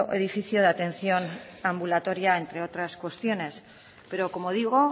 edificio de atención ambulatoria entre otras cuestiones pero como digo